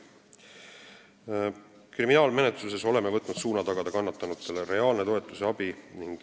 Kriminaalmenetluses oleme võtnud suuna tagada kannatanutele reaalne toetus ja abi.